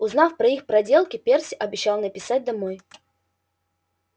узнав про их проделки перси обещал написать домой